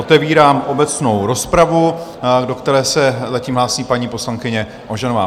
Otevírám obecnou rozpravu, do které se zatím hlásí paní poslankyně Ožanová.